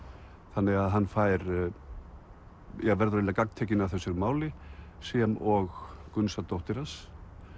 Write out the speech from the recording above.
þannig að hann verður eiginlega gagntekinn af þessu máli sem og Gunnsa dóttir hans